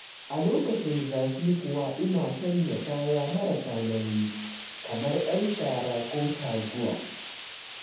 A lokacin zafi kuwa ina sanya kaya marasa nauyi, kamar 'yar shara ko taguwa.